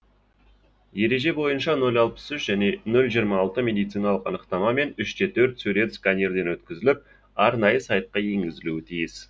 ереже бойынша нөл алпыс үш және нөл жиырма алты медициналық анықтама мен үш те төрт сурет сканерден өткізіліп арнайы сайтқа енгізілуі тиіс